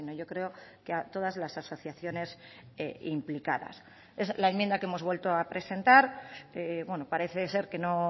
yo creo que a todas las asociaciones implicadas es la enmienda que hemos vuelto a presentar parece ser que no